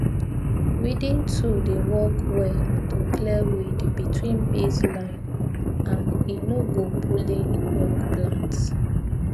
weeding tool dey work well to clear weed between maize line and e no go pulling young plant